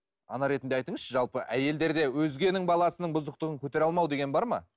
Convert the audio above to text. ана ретінде айтыңызшы жалпы әйелдерде өзгенің баласының бұзықтығын көтере алмау деген бар ма